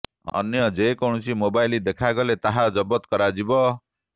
ଅନ୍ୟ ଯେ କୌଣସି ମୋବାଇଲ ଦେଖାଗଲେ ତାହା ଜବତ କରାଯିବ